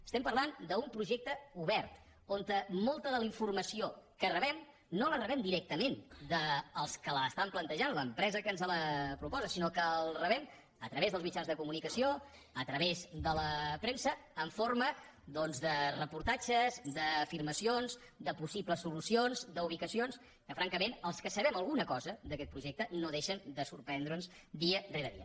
estem parlant d’un projecte obert on molta de la informació que rebem no la rebem directament dels que l’estan plantejant l’empresa que ens la proposa sinó que la rebem a través dels mitjans de comunicació a través de la premsa en forma doncs de reportatges d’afirmacions de possibles solucions d’ubicacions que francament als que sabem alguna cosa d’aquest projecte no deixen de sorprendre’ns dia rere dia